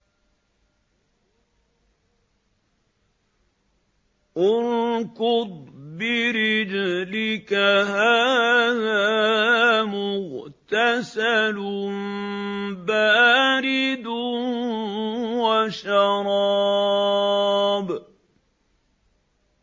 ارْكُضْ بِرِجْلِكَ ۖ هَٰذَا مُغْتَسَلٌ بَارِدٌ وَشَرَابٌ